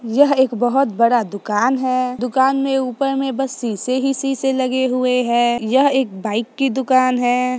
यह एक बहुत बड़ा दुकान है दुकान में ऊपर में बस शीशे ही शीशे लगे हुए हैं यहाँ एक बाइक की दुकान है।